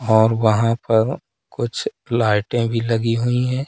और वहां पर कुछ लाइटे भी लगी हुई है।